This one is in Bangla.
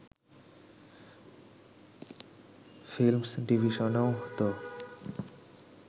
ফিল্মস ডিভিশনও তো